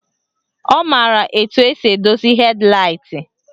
Ọ maara etu esi edozi hed laịt